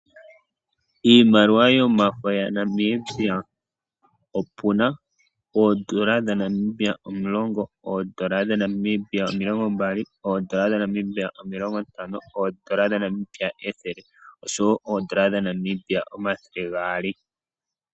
Iimaliwa yomafo yaNamibia, opu na oondola dhaNamibia omulongo, oondola dhaNamibia omilongo mbali, oondola dhaNamibia omilongo ntano, oondola dhaNamibia ethele, osho wo oondola dhaNamibia omathele gaali.